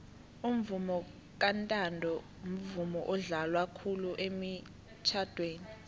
umvomo kantanto mvumo odlalwa khulu emitjhadweni